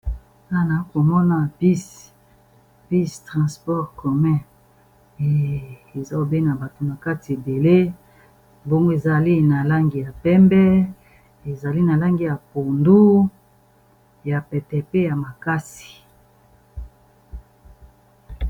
Nanaa komona bis bis transport commet ezalobena bato na kati ebele mbongo ezali na langi ya pembe, ezali na langi ya pondu, ya petepe ya makasi.